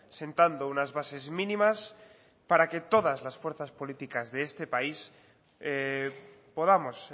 sentando unas bases mínimas para que todas las fuerzas políticas de este país podamos